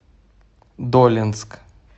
долинск